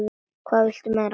Hvað viltu meira?